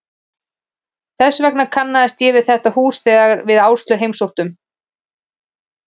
Þess vegna kannaðist ég við þetta hús þegar við Áslaug heimsóttum